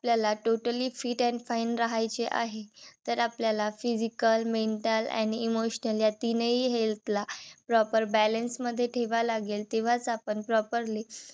आपल्याला totally fit and fine राहायचे आहे. तर आपल्याला physical mental and emotional या तिन्ही health ला proper balance मध्ये ठेवाय लागेल. तेंव्हाच आपण properly